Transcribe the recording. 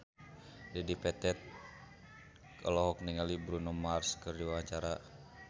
Dedi Petet olohok ningali Bruno Mars keur diwawancara